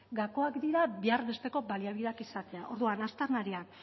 gakoak dira behar besteko baliabideak izatea orduan aztarnariak